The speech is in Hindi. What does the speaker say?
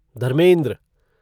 धर्मेंद्र